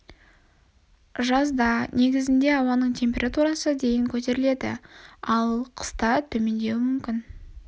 жазда негізінде ауаның температурасы дейін көтеріледі ал қыста дейін төмендеуі мүмкін